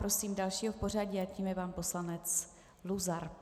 Prosím dalšího v pořadí a tím je pan poslanec Luzar.